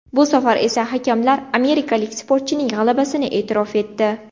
Bu safar esa hakamlar amerikalik sportchining g‘alabasini e’tirof etdi.